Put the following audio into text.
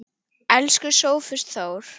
Elsku Sófus Þór.